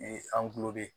an kulo de